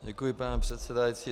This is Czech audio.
Děkuji, pane předsedající.